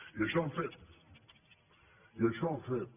i això hem fet i això hem fet